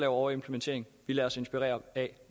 overimplementering vi lader os inspirere af